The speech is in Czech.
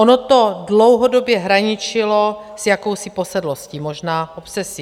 Ono to dlouhodobě hraničilo s jakousi posedlostí, možná obsesí.